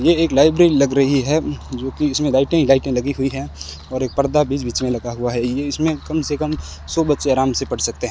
ये एक लाइब्रेरी लग रही है जो की इसमें लाइटें ही लाइटें लगी हुई हैं और एक पर्दा भी बीच-बीच में लगा हुआ है ये इसमें कम से कम सौ बच्चे आराम से पढ़ सकते हैं।